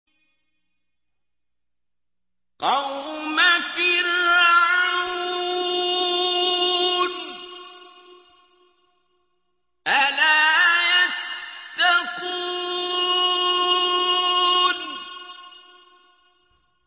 قَوْمَ فِرْعَوْنَ ۚ أَلَا يَتَّقُونَ